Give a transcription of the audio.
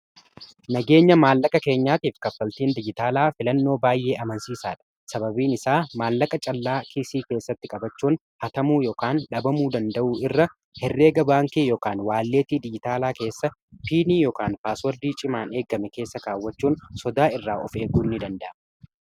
nageenya maallaqa keenyaatiif kaffaltiin diyyitaalaa filannoo baay'ee amansiisaa dha sababiin isaa maallaqa callaa kiisii keessatti qabachuun hatamuu ykn dhabamuu danda'uu irra herreega baankii yookaan waalleetii digitaalaa keessa piinii yokaan paaswordii cimaan eeggame keessa kaawwachuun sodaa irraa of eeguu ni danda'a